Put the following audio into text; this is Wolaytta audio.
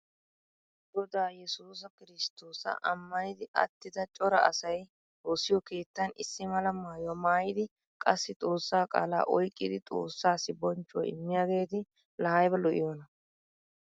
Godaa yesusa kirsttoosa ammanidi attida cora asay woosiyo keettan issi mala maayuwa maayidi qassi xoossa qaala oyqqidi xoossaassi bonchchuwa imiyaageeti laa ayba lo'iyoonaa.